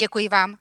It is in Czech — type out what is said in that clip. Děkuji vám.